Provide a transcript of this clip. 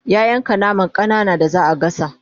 ya yanka naman ƙanana da zaa gasa